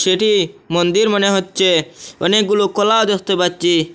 একটি মন্দির মনে হচ্চে অনেকগুলো কলা দেখতে পাচ্চি।